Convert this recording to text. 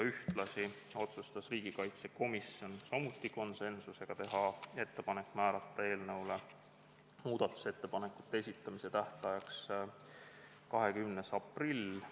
Ühtlasi otsustas riigikaitse komisjon – samuti konsensusega – teha ettepaneku määrata muudatusettepanekute esitamise tähtajaks k.a 20. aprilli kell 10.